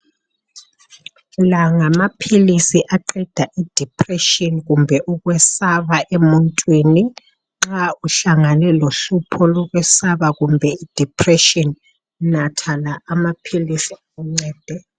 La ngamaphilisi aqeda idiphureshini kumbe ukwesaba emuntwini nxa uhlangene lohlupho lokwesaba kumbe idiphureshini natha la amaphilisi akuncede.